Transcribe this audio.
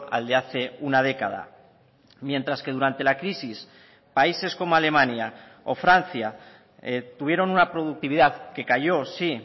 al de hace una década mientras que durante la crisis países como alemania o francia tuvieron una productividad que cayó sí